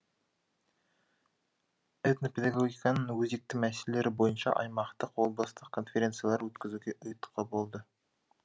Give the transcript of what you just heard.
этнопедагогиканың өзекті мәселелері бойынша аймақтық облыстық конференциялар өткізуге ұйытқы болды